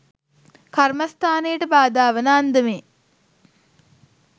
කර්මස්ථානයට බාධා වන අන්දමේ